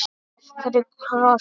Af hverju kross?